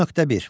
10.1.